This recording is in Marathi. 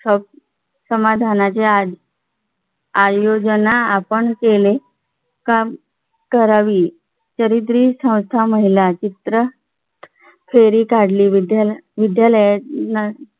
समाधानाच्या आधी आयोजन आपण केले का करावी तरी संस्था महिला चित्र फेरी काढली विद्यालय विद्यालयांना